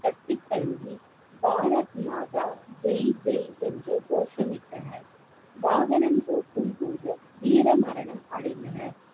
கட்டித்தழுவி பாரத் மாதா ஜெய் ஜெய் என்று கோஷமிட்டனர் வாகனம் ஓட்டும் போது வீர மரணம் அடைந்தனர்